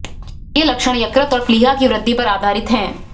ये लक्षण यकृत और प्लीहा की वृद्धि पर आधारित हैं